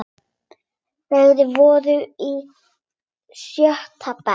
Þeir voru í sjötta bekk.